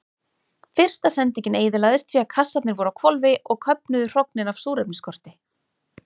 Fyrsta sendingin eyðilagðist því að kassarnir voru á hvolfi og köfnuðu hrognin af súrefnisskorti.